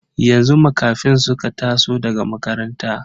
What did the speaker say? Yanzu Makafin suka taso daga makaranta.